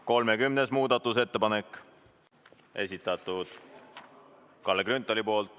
30. muudatusettepaneku on esitanud Kalle Grünthal.